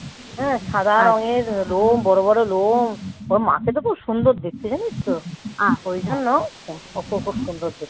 হ্যাঁ সাদা রঙের লোম বড় বড় লোম. ওর মাকে তো খুব সুন্দর দেখতে জানিস তো. ওই জন্য খুব সুন্দর খেতে.